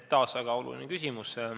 Taas väga oluline küsimus.